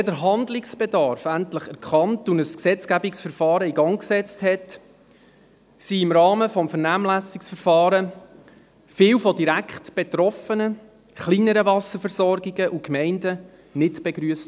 Als man den Handlungsbedarf endlich erkannte und ein Gesetzgebungsverfahren in Gang setzte, wurden im Rahmen des Vernehmlassungsverfahrens viele direkt betroffene kleinere Wasserversorgungen und Gemeinden nicht begrüsst.